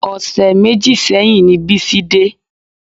Ọṣẹ méjì sẹ́yìn ni Bísí dé